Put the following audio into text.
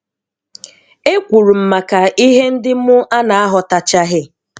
E kwuru m maka ihe ndị mụ a na-aghọtachaghị